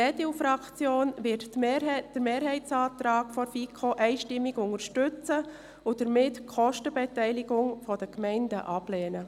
Die EDU-Fraktion wird den Mehrheitsantrag der FiKo einstimmig unterstützen und damit die Kostenbeteiligung der Gemeinden ablehnen.